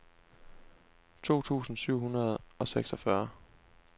to tusind syv hundrede og seksogfyrre